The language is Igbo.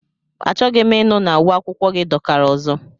Achọghị m ịnụ na uwe akwụkwọ gị dọkara ọzọ!